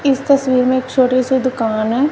इस तस्वीर में एक छोटी सी दुकान है।